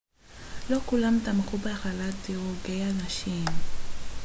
לא כולם תמכו בהכללת דירוגי הנשים